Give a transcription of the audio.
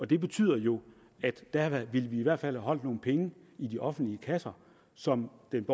det betyder jo at vi der i hvert fald holdt nogle penge i de offentlige kasser som den